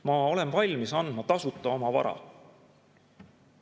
Ma olen valmis andma tasuta oma vara.